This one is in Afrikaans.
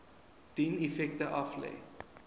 dien effekte aflê